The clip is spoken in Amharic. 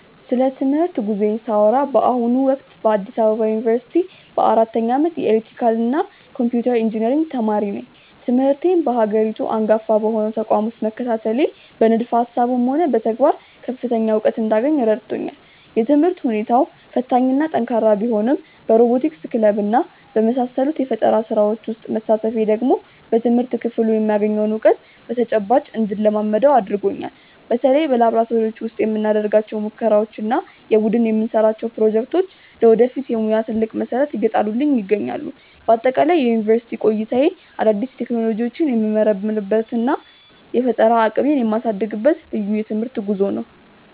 ስለ ትምህርት ጉዞዬ ሳወራ በአሁኑ ወቅት በአዲስ አበባ ዩኒቨርሲቲ በአራተኛ ዓመት የኤሌክትሪካልና ኮምፒውተር ኢንጂነሪንግ ተማሪ ነኝ። ትምህርቴን በሀገሪቱ አንጋፋ በሆነው ተቋም ውስጥ መከታተሌ በንድፈ ሃሳብም ሆነ በተግባር ከፍተኛ እውቀት እንዳገኝ ረድቶኛል። የትምህርት ሁኔታው ፈታኝና ጠንካራ ቢሆንም በሮቦቲክስ ክለብና በመሳሰሉት የፈጠራ ስራዎች ውስጥ መሳተፌ ደግሞ በትምህርት ክፍሉ የማገኘውን እውቀት በተጨባጭ እንድለማመደው አድርጎኛል። በተለይ በላብራቶሪዎች ውስጥ የምናደርጋቸው ሙከራዎችና የቡድን የምንሰራቸው ፕሮጀክቶች ለወደፊት የሙያ ትልቅ መሰረት እየጣሉልኝ ይገኛሉ። በአጠቃላይ የዩኒቨርሲቲ ቆይታዬ አዳዲስ ቴክኖሎጂዎችን የምመረምርበትና የፈጠራ አቅሜን የማሳድግበት ልዩ የትምህርት ጉዞ ነው።